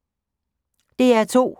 DR2